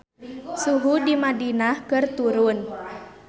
Suhu di Madinah keur turun